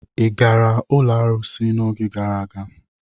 Ị gara ụlọ arụsị n'oge gara aga?